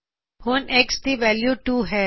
ਹੁਣ X ਦੀ value 2 ਹੈ